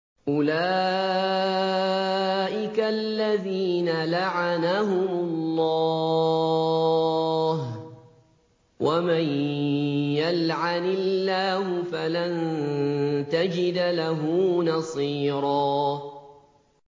أُولَٰئِكَ الَّذِينَ لَعَنَهُمُ اللَّهُ ۖ وَمَن يَلْعَنِ اللَّهُ فَلَن تَجِدَ لَهُ نَصِيرًا